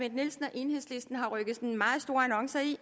enhedslisten har rykket meget store annoncer ind